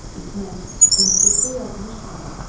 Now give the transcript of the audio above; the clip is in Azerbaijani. İsmət, məktubda yazmış tamam.